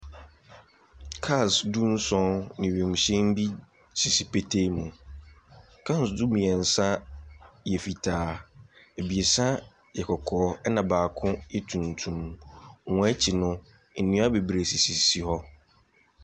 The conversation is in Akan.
Cars du-nson ne wiemhyɛn bi sisi petee mu. Cars no mmeɛnsa yɛ fitaa, ebiesa yɛ kɔkɔɔ, ɛnna baako yɛ tuntum. Wɔn akyi no, nnua bebree sisi hɔ.